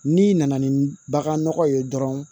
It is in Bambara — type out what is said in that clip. N'i nana ni bagan nɔgɔ ye dɔrɔn